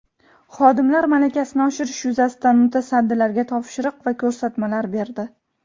xodimlar malakasini oshirish yuzasidan mutasaddilarga topshiriq va ko‘rsatmalar berdi.